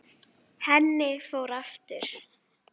Henni fór aftur.